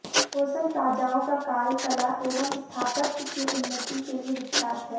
होयसल राजाओं का काल कला एवं स्थापत्य की उन्नति के लिये विख्यात है